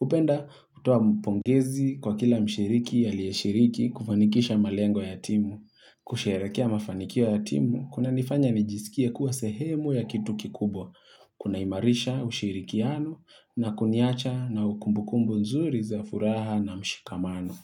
upenda kutoa mpongezi kwa kila mshiriki aliyeshiriki kufanikisha malengo ya timu. Kusherekea mafanikio ya timu, kuna nifanya nijisikia kuwa sehemu ya kitu kikubwa. Kuna imarisha ushirikiano na kunyacha na ukumbukumbu nzuri za furaha na mshikamano.